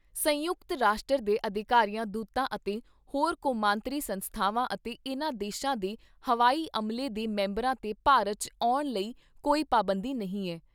ਸੰਯੁਕਤ ਰਾਸ਼ਟਰ ਦੇ ਅਧਿਕਾਰੀਆਂ ਦੂਤਾਂ ਅਤੇ ਹੋਰ ਕੌਮਾਂਤਰੀ ਸੰਸਥਾਵਾਂ ਅਤੇ ਇਨ੍ਹਾਂ ਦੇਸ਼ਾਂ ਦੇ ਹਵਾਈ ਅਮਲੇ ਦੇ ਮੈਂਬਰਾਂ 'ਤੇ ਭਾਰਤ 'ਚ ਆਉਣ ਲਈ ਕੋਈ ਪਾਬੰਦੀ ਨਹੀਂ ਐ।